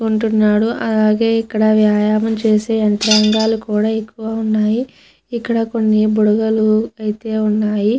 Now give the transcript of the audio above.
ఉంటున్నాడు అలాగే ఇక్కడ వ్యాయామం చేసే యంత్రాలు కూడా ఎక్కువ ఉన్నాయి ఇక్కడ కొన్ని బుడగలు అయితే ఉన్నయి.